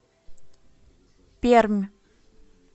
пермь